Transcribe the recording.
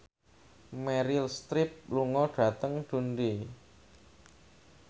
Meryl Streep lunga dhateng Dundee